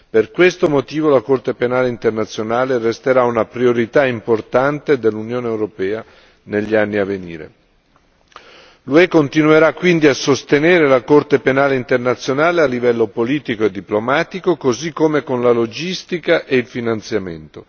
Per questo motivo la Corte penale internazionale resterà una priorità importante dell'Unione europea negli anni a venire. L'UE continuerà quindi a sostenere la Corte penale internazionale a livello politico e diplomatico, così come con la logistica e il finanziamento.